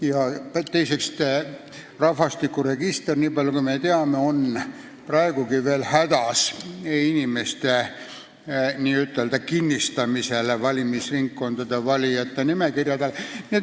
Ja teiseks: nii palju kui me teame, on rahvastikuregister praegugi hädas inimeste n-ö kinnistamisega valimisringkondade valijate nimekirjades.